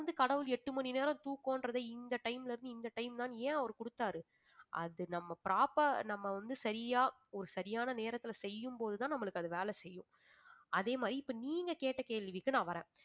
வந்து கடவுள் எட்டு மணி நேரம் தூக்கம்ன்றதை இந்த time ல இருந்து இந்த time தான்னு ஏன் அவர் கொடுத்தார் அது நம்ம prop~ அஹ் நம்ம வந்து சரியா ஒரு சரியான நேரத்துல செய்யும்போதுதான் நம்மளுக்கு அது வேலை செய்யும் அதே மாதிரி இப்ப நீங்க கேட்ட கேள்விக்கு நான் வர்றேன்